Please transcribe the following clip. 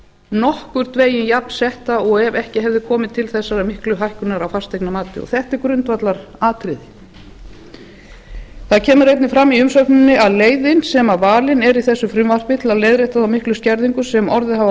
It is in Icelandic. nokkurn veginn jafnsetta og ef ekki hefði komið til þessarar miklu hækkunar á fasteignamati þetta er grundvallaratriði það kemur einnig fram í umsögninni að leiðin sem valin er í þessu frumvarpi til að leiðrétta þá miklu skerðingu sem orðið hafði á